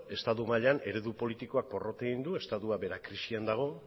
estatu mailan eredu politikoak porrot egin du estatua bera krisian dago